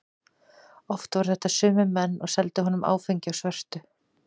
Oft voru þetta sömu menn og seldu honum áfengi á svörtu.